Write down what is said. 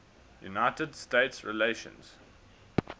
united states relations